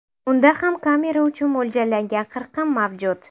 Unda ham kamera uchun mo‘ljallangan qirqim mavjud.